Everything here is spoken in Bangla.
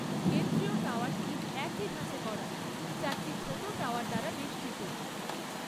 কেন্দ্রীয় টাওয়ারটি একই ধাঁচে গড়া, চারটি ছোট টাওয়ার দ্বারা বেষ্টিত।